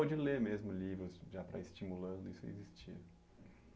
Ou de ler mesmo livros, já para ir estimulando, isso existia?